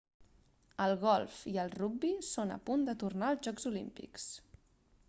el golf i el rugbi són a punt de tornar als jocs olímpics